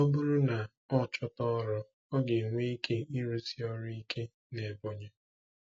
Ọ bụrụ na ọ chọta ọrụ, ọ ga-enwe ike ịrụsi ọrụ ike n'Ebonyi.